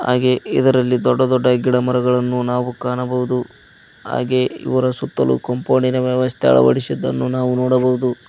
ಹಾಗೆ ಇದರಲ್ಲಿ ದೊಡ್ಡ ದೊಡ್ಡ ಗಿಡ ಮರಗಳನ್ನು ನಾವು ಕಾಣಬಹುದು ಹಾಗೆ ಇವರ ಸುತ್ತಲೂ ಕಾಂಪೌಂಡಿನ ವ್ಯವಸ್ಥೆ ಅಳವಡಿಸಿದ್ದನ್ನು ನಾವು ನೋಡಬಹುದು.